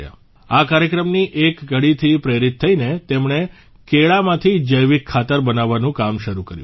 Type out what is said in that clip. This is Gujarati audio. આ કાર્યક્રમની એક કડીથી પ્રેરિત થઇને તેમણે કેળામાંથી જૈવિક ખાતર બનાવવાનું કામ શરૂ કર્યું